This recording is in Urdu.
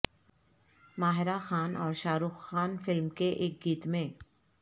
ماہرہ خان اور شاہ رخ خان فلم کے ایک گیت میں